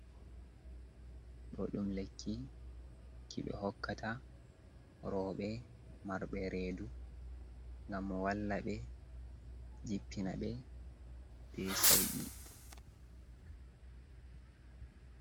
Ɗoo ɗum lekki ki ɓe hokkata roobe marɓe reedu ngam walla ɓe jippina ɓe bee sawki.